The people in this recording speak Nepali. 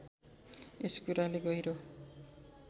यस कुराले गहिरो